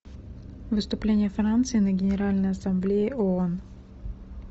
выступление франции на генеральной ассамблее оон